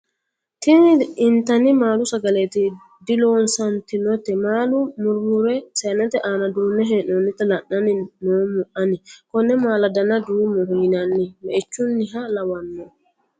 tini intanni maalu sagaleeti diloosantinote maala murmurre saynete aana duunnne hee'noonnita la'anni noommo ani. konne maala dana duumoho yinanni me'ichunniha lawanno